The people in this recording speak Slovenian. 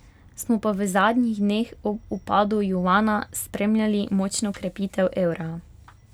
Smo pa v zadnjih dneh ob upadu juana spremljali močno krepitev evra.